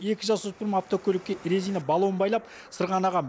екі жасөспірім автокөлікке резина баллон байлап сырғанаған